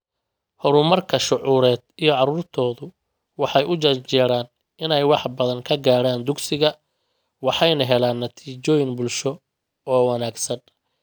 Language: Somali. Horumarka shucuureed iyo caruurtoodu waxay u janjeeraan inay wax badan ka gaaraan dugsiga waxayna helaan natiijooyin bulsho oo wanaagsan.